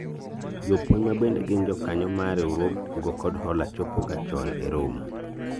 jopuonj ma bende gin jokanyo mar riwruog kungo kod hola chopo ga chon e romo